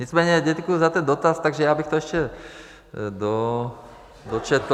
Nicméně děkuju za ten dotaz, tak já bych to ještě dočetl.